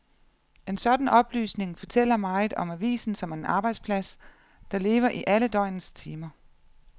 En sådan oplysning fortæller meget om avisen som en arbejdsplads, der lever i alle døgnets timer.